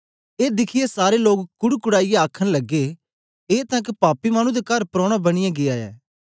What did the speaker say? ए दिखियै सारे लोक कुड्कुडाईयै आखन लगे ए तां एक पापी मानु दे कर प्रोना बनियै गीया ऐ